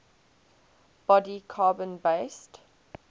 body carbon based